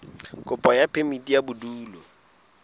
kopo ya phemiti ya bodulo